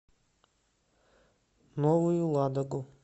новую ладогу